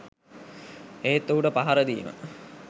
එහෙත් ඔහුට පහර දීම